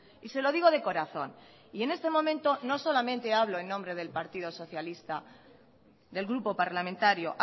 y se lo digo de corazón y en este momento no solamente hablo en nombre del grupo parlamentario